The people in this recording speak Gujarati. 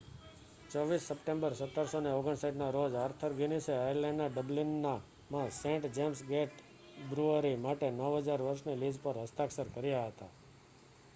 24 સપ્ટેમ્બર 1759 ના રોજ આર્થર ગિનીસે આયર્લેન્ડના ડબલિનમાં સેન્ટ જેમ્સ ગેટ બ્રૂઅરી માટે 9,000 વર્ષની લીઝ પર હસ્તાક્ષર કર્યા હતા